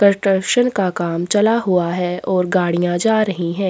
Construction का काम चला हुआ है और गाड़ियाँ जा रही हैं।